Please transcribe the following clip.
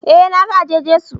Eh na ga eje-Jesu